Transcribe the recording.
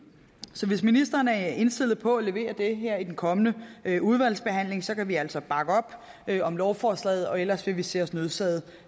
så hvis ministeren er indstillet på at levere det her i den kommende udvalgsbehandling kan vi altså bakke op om lovforslaget og ellers vil vi se os nødsaget